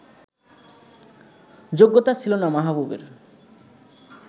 যোগ্যতা ছিল না মাহবুবের